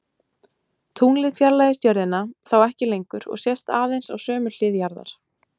Tunglið fjarlægist jörðina þá ekki lengur og sést aðeins á sömu hlið jarðar.